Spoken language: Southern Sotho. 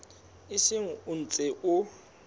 o seng o ntse o